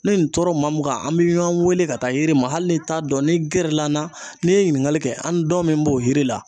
Ne nin tora maa mun kan an bi ɲɔgɔn weele ka taa yiri ma, hali n'i t'a dɔn ni gɛrɛ la an na n'i ye ɲininkali kɛ an dɔn min b'o yiri la